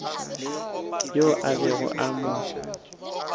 yo a bego a mo